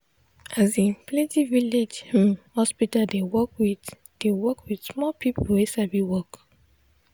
asin plenti village hmm hospital dey work with dey work with small people wey sabi work.